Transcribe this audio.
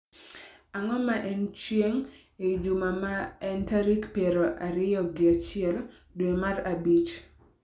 Ang'o ma en chieng' ei juma ma en tarik piero ariyo gi achiel dwe mar abich